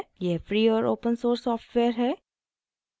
यह free और open source software है